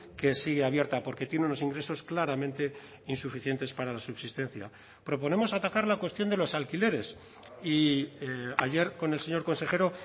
que sigue abierta porque tiene unos ingresos claramente insuficientes para la subsistencia proponemos atajar la cuestión de los alquileres y ayer con el señor consejero